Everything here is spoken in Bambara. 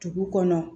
Dugu kɔnɔ